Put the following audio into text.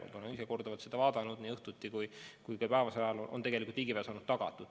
Olen ise korduvalt seda vaadanud, nii õhtuti kui ka päevasel ajal on tegelikult ligipääs olnud tagatud.